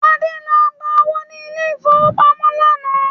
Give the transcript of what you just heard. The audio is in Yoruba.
Adé lọ gba owó ni ilẹ̀ ìfowópamọ́ lánàá